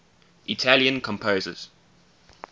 italian composers